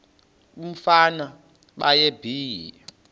umfana baye bee